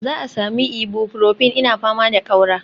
Za a sami Ibuprofin, ina fama da ƙaura